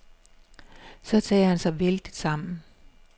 Så tager han sig vældigt sammen.